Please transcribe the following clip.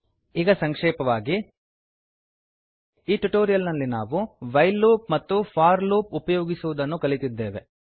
ಈಗ ಸಂಕ್ಷೇಪವಾಗಿ ಈ ಟ್ಯುಟೋರಿಯಲ್ ನಲ್ಲಿ ನಾವು ವೈಲ್ ಲೂಪ್ ಮತ್ತು ಫೋರ್ ಲೂಪ್ ಉಪಯೋಗಿಸುವುದನ್ನು ಕಲಿತಿದ್ದೇವೆ